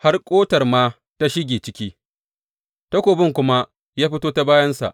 Har ƙotar ma ta shige ciki, takobin kuma ya fito ta bayansa.